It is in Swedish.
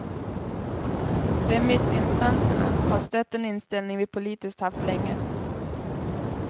Remissinstanserna har stött den inställning vi politiskt haft länge.